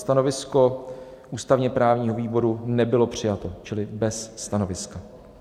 Stanovisko ústavně-právního výboru nebylo přijato čili bez stanoviska.